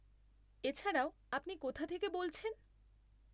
এছাড়াও, আপনি কোথা থেকে বলছেন?